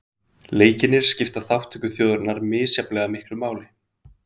Leikirnir skipta þátttökuþjóðirnar misjafnlega miklu máli